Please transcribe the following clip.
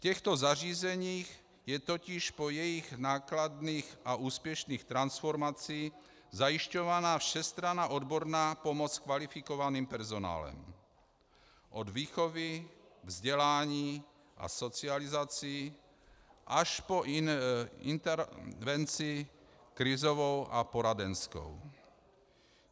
V těchto zařízeních je totiž po jejich nákladných a úspěšných transformacích zajišťována všestranná odborná pomoc kvalifikovaným personálem od výchovy, vzdělání a socializací až po intervenci krizovou a poradenskou.